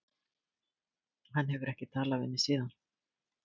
Hann hefur ekki talað við mig síðan.